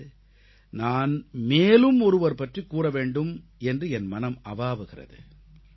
இன்று நான் மேலும் ஒருவர் பற்றிக் கூற வேண்டும் என்று என் மனம் அவாவுகிறது